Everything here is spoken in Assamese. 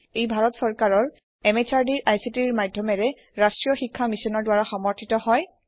ই ভাৰত সৰকাৰৰ MHRDৰ ICTৰ মাধ্যমেৰে ৰাষ্ট্ৰীয় শীক্ষা Missionৰ দ্ৱাৰা সমৰ্থিত হয়